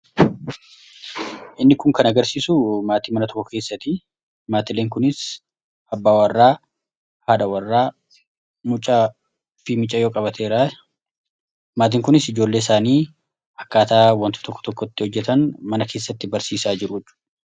inni kun kan agarsiisu maatii mana tokko keessati maatileen kunis habbaa warraa haadha warraa mucaa fi micaa yoo qabateeraa maatiin kunis ijoollee isaanii akkaataa wantoo tokko tokkotti hojjetan mana keessatti barsiisaa jiru